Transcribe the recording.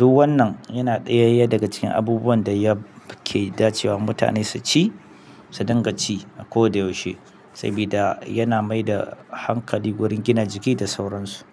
Duk wannan yana ɗayayya daga cikin abubuwan da yake dacewa mutane su ci, su dinga ci a koda yaushe. Sabida yana mai da hankali gurin gina jiki da sauransu.